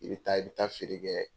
I bɛ taa i bɛ taa feere kɛ